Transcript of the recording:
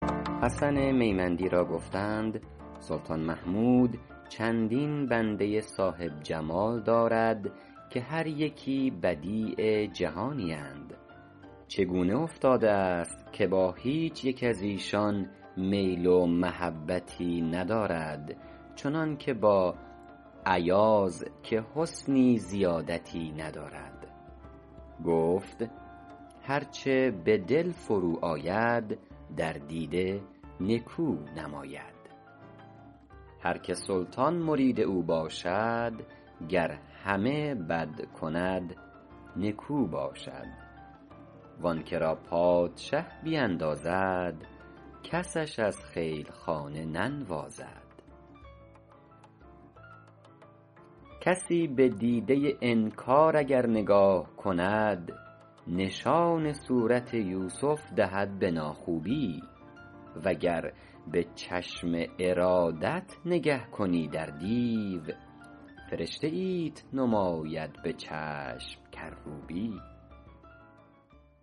حسن میمندی را گفتند سلطان محمود چندین بنده صاحب جمال دارد که هر یکی بدیع جهانی اند چگونه افتاده است که با هیچ یک از ایشان میل و محبتی ندارد چنان که با ایاز که حسنی زیادتی ندارد گفت هر چه به دل فرو آید در دیده نکو نماید هر که سلطان مرید او باشد گر همه بد کند نکو باشد و آن که را پادشه بیندازد کسش از خیل خانه ننوازد کسی به دیده انکار اگر نگاه کند نشان صورت یوسف دهد به ناخوبی و گر به چشم ارادت نگه کنی در دیو فرشته ایت نماید به چشم کروبی